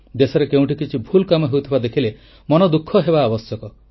ଦେଶରେ କେଉଁଠି କିଛି ଭୁଲ୍ କାମ ହେଉଥିବା ଦେଖିଲେ ମନ ଦୁଃଖ ହେବା ଆବଶ୍ୟକ